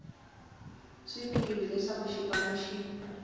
swi tiva leswaku xipano xi